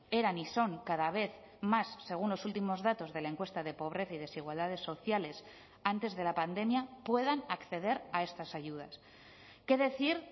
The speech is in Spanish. eran y son cada vez más según los últimos datos de la encuesta de pobreza y desigualdades sociales antes de la pandemia puedan acceder a estas ayudas qué decir